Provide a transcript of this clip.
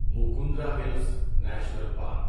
Mukundra Hills National park